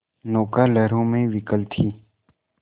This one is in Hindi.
नौका लहरों में विकल थी